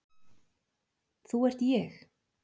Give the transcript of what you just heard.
Þú ert ég.